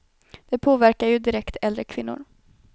Det påverkar ju direkt äldre kvinnor.